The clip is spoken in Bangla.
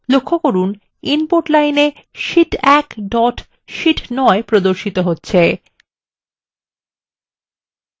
লক্ষ্য করুন input line –এ sheet 1 dot c9 প্রদর্শিত হচ্ছে